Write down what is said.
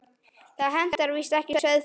Það hentar víst ekki sauðfé.